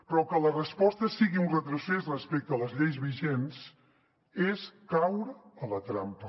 però que la resposta sigui un retrocés respecte a les lleis vigents és caure en la trampa